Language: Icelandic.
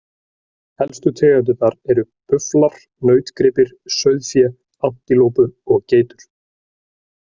Helstu tegundirnar eru bufflar, nautgripir, sauðfé, antilópur og geitur.